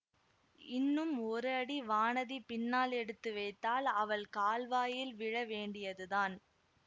இன்னும் ஒரு அடி வானதி பின்னால் எடுத்து வைத்தால் அவள் கால்வாயில் விழ வேண்டியதுதான்